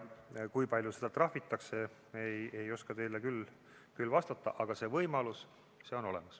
Kui palju seda trahvitakse, seda ei oska teile küll vastata, aga see võimalus on olemas.